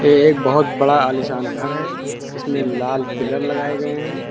ये एक बहोत बड़ा आलिशान घर है इसमें लाल पिलर लगाए गए हैं।